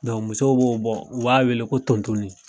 musow b'o bɔ u b'a wele ko tontonli.